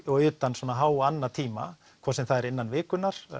og utan háannatíma hvort sem það er innan vikunnar